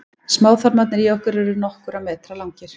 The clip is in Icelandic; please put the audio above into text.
smáþarmarnir í okkur eru nokkurra metra langir